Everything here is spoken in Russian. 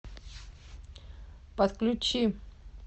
подключи